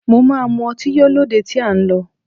Mo máa mu ọtí yó lóde tí à ń lọ